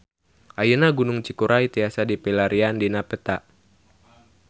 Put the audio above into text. Ayeuna Gunung Cikuray tiasa dipilarian dina peta